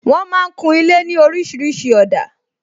Wọn máa ń kun ilé ní orísìírísìí òdà